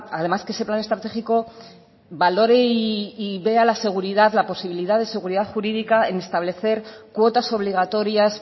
además que ese plan estratégico valore y vea la seguridad la posibilidad de seguridad jurídica en establecer cuotas obligatorias